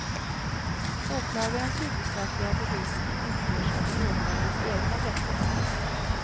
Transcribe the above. Åklagarens huvudsakliga bevisning utgörs av de åtalades egna berättelser.